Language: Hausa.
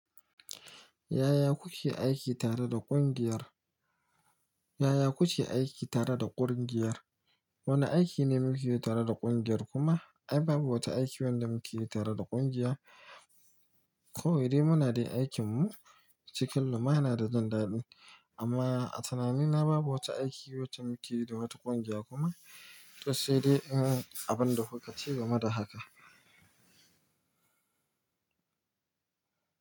Yaya kuke aiki tare da ƙungiyar? Yaya kuke aiki tare da ƙungiyar? Wane aiki ne muke yi tare da ƙungiyar kuma ai babu wata aiki wanda muke yi tare da ƙungiya. Kawai dai muna dai aikinmu cikin lumana da jin daɗi amma a tunanina babu wata aiki wacce muke yi da wata ƙungiya kuma to sai dai in abin da kuka ce ga meda haka.